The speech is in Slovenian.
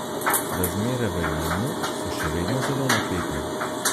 Razmere v Jemnu so še vedno zelo napete.